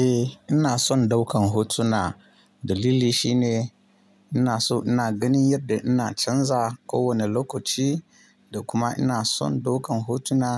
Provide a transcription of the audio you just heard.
Eh ina son daukan hotuna dalili shine ina so ina ganin yadda ina canza kowane lokaci. Da kuma ina son daukan hotuna